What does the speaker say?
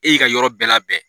E y'i ka yɔrɔ bɛɛ labɛn